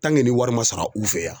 nin wari ma sara u fɛ yan